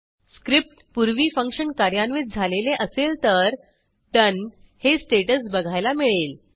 script पूर्वी function कार्यान्वित झालेले असेल तर Doneहे स्टेटस बघायला मिळेल